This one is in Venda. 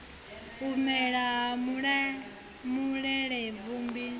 u mela ha malelebvudzi hu